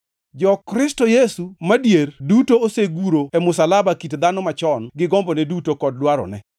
Jo-Kristo Yesu madier duto oseguro e msalaba kit dhano machon gi gombone duto kod dwarone.